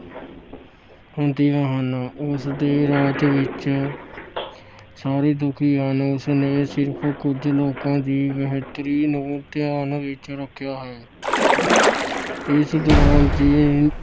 ਹੁੰਦੀਆਂ ਹਨ। ਉਸ ਦੇ ਰਾਜ ਵਿੱਚ ਸਾਰੇ ਦੁਖੀ ਹਨ। ਉਸ ਨੇ ਸਿਰਫ ਕੁਝ ਲੋਕਾਂ ਦੀ ਬਿਹਤਰੀ ਨੂੰ ਧਿਆਨ ਵਿੱਚ ਰੱਖਿਆ ਹੈ। ਇਸ ਦੌਰਾਨ ਜੀਨਤ